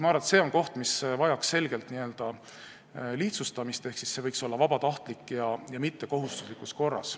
Ma arvan, et see on koht, mis vajaks selgelt lihtsustamist, ehk see võiks olla vabatahtlik, see ei peaks olema kohustuslik.